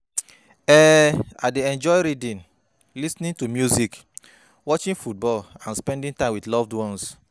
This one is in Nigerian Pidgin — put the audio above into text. um I dey enjoy reading, lis ten ing to music, watching football and spending time with loved ones.